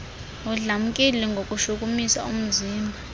udlamkile ngokushukumisa umzimba